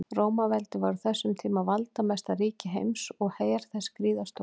Rómaveldi var á þessum tíma valdamesta ríki heims og her þess gríðarstór.